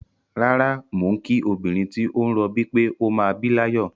Rárá, mò ń kí obìnrin tí ó ń rọbí pé ó máa bí láyọ̀.